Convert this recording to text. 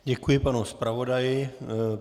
Děkuji panu zpravodaji.